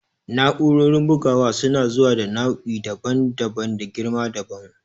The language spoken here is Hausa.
Na'urorin bugawa suna zuwa da nau'i daban-daban da girma dabam.